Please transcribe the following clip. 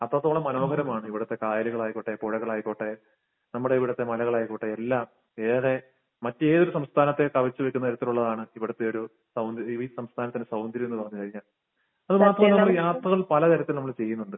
അത്രത്തോളം മനോഹരമാണ് ഇവിടുത്തെ കായലുകളായിക്കോട്ടെ, പുഴകളായിക്കോട്ടെ. നമ്മുടെ ഇവിടുത്തെ മലകളായിക്കോട്ടെ. എല്ലാം ഏറെ മറ്റേത് സംസ്ഥാനത്തെ കവിച്ച് വെക്കുന്ന തരത്തിലുള്ളതാണ് ഇവിടത്തെ ഒരു സൗന്ദര്യം. ഈ സംസ്ഥാനത്തിന്റെ സൗന്ദര്യമെന്ന് പറഞ്ഞ് കഴിഞ്ഞാൽ. അത് മാത്രമല്ല യാത്ര പല തരത്തിലും നമ്മൾ ചെയ്യുന്നുണ്ട്.